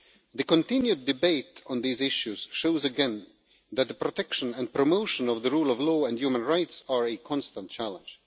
The continued debate on these issues shows again that the protection and promotion of the rule of law and human rights are a constant challenge.